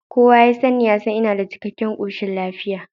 Kowa ya sanni ya san ina da cikkaken koshin lafiya